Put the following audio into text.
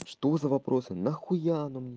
что за вопрос нахуя они мне